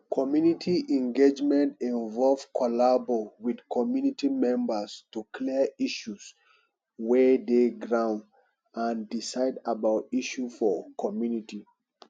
community engagement involve collabo with community memebrs to clear issues wey dey ground and decide about issue for community